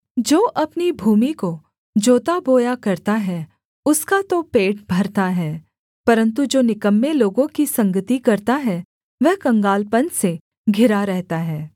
जो अपनी भूमि को जोताबोया करता है उसका तो पेट भरता है परन्तु जो निकम्मे लोगों की संगति करता है वह कंगालपन से घिरा रहता है